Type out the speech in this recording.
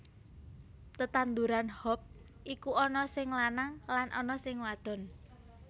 Tetandhuran hop iku ana sing lanang lan ana sing wadon